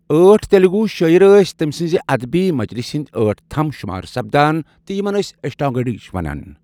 ٲٹھ تیلگو شٲعر ٲسۍ تٔمۍ سٕنٛزِ ادبی مجلسہِ ہٕنٛدۍ ٲٹھ تھم شمار سپدان تہٕ یِمن ٲسۍ اشٹا گڑِج ونان ۔